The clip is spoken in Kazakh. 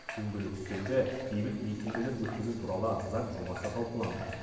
дөңгелек үстелде бейбіт митингілер өткізу туралы заң жобасы талқыланды